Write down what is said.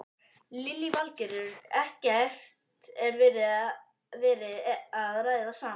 Lillý Valgerður: Ekkert verið að ræða saman?